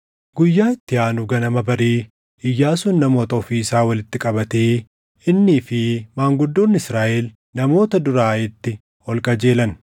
Guyyaa itti aanu ganama barii Iyyaasuun namoota ofii isaa walitti qabatee innii fi maanguddoonni Israaʼel namoota dura Aayitti ol qajeelan.